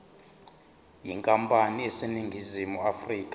yenkampani eseningizimu afrika